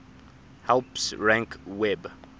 helps rank web